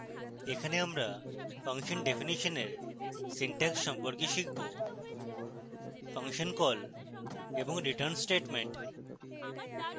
এখানে আমরা function definition in syntax সম্পর্কে শিখব